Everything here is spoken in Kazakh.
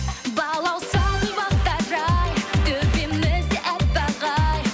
балауса гүл бақтары ай төбемізде аппақ ай